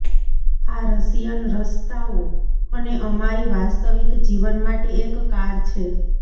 આ રશિયન રસ્તાઓ અને અમારી વાસ્તવિક જીવન માટે એક કાર છે